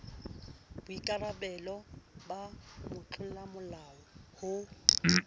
boikara belo ba motlolamolao ho